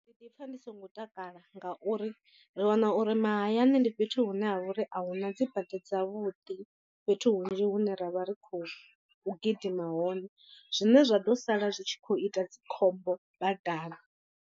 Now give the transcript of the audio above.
Ndi ḓipfa ndi songo takala ngauri ri wana uri mahayani ndi fhethu hune ha vha uri a huna dzi bada dzavhuḓi fhethu hunzhi hune ra vha ri khou gidima hone zwine zwa ḓo sala zwi tshi khou ita dzikhombo badani.